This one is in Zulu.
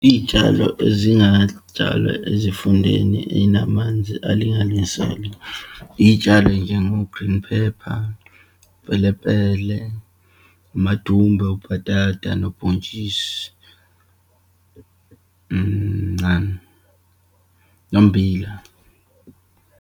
Iyitshalo ezingatshalwa ezifundeni eyinamanzi alinganiselwe, iyitshalo eyinjengo-green pepper, pelepele, amadumbe, ubhatata, nobhontshisi, nommbila.